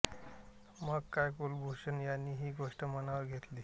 मग काय कुलभूषण यांनी ही गोष्ट मनावर घेतली